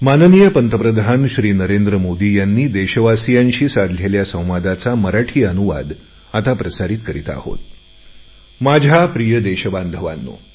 माझ्या प्रिय देशबांधवांनो